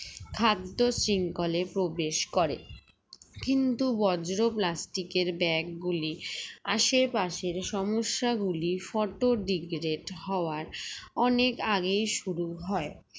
খাদ্যশৃঙ্খলে প্রবেশ করে কিন্তু বজ্র plastic এর bag গুলি আশেপাশের সমস্যাগুলি photo degrate হওয়ার অনেক আগেই শুরু হয়